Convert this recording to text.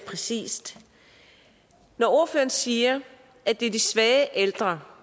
præcist når ordføreren siger at det er de svage ældre